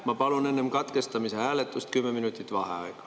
Ma palun enne katkestamise hääletust kümme minutit vaheaega.